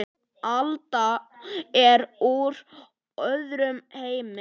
Alda er úr öðrum heimi.